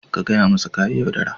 Ka gaya masa ka yi yaudara.